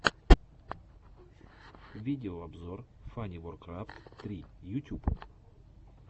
видеообзор фаниворкрафт три ютюб